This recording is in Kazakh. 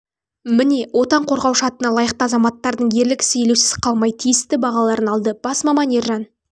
міне отан қорғаушы атына лайықты азаматтардың ерлік ісі елеусіз қалмай тиісті бағаларын алды бас маман ержан